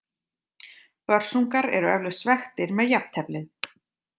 Börsungar eru eflaust svekktir með jafnteflið.